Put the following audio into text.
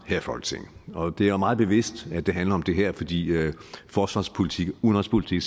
i folketinget og det er meget bevidst at det handler om det her fordi forsvarspolitik udenrigspolitik